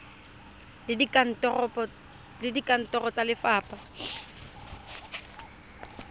le kantoro ya lefapha e